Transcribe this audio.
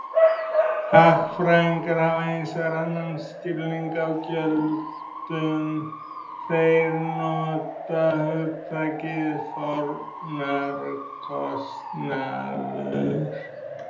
Hagfræðingar hafa hins vegar annan skilning á gjöldum, þeir nota hugtakið fórnarkostnaður.